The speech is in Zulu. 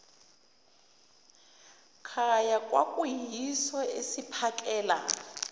khaya kwakuyiso esiphakela